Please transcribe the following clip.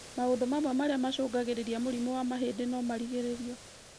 Maũndũ mamwe marĩa macũngagĩrĩria mũrimũ wa mahĩndĩ nomarigĩrĩrio